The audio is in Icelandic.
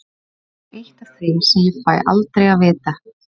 Það er eitt af því sem ég fæ aldrei að vita.